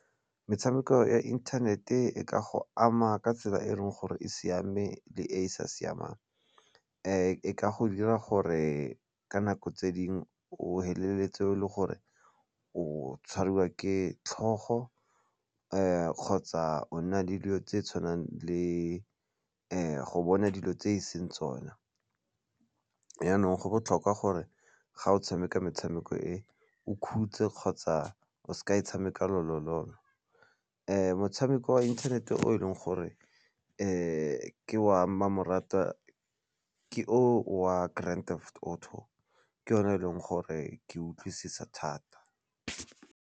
Metshameko ya internet-e e ka go ama ka tsela e e leng gore e siame le e e sa siamang, e ka go dira gore ka nako tse dingwe o feleletse e le gore o tshwariwa ke tlhogo kgotsa o nna le dilo tse tshwanang le go bona dilo tse e seng tsona yanong go botlhokwa gore ga o tshameka metshameko e o 'khutse kgotsa o sa e tshameka lolololo. Motshameko wa inthanete o e leng gore ke wa mmamoratwa ke o wa Grand Theft Auto ke yone e leng gore ke utlwisisa thata.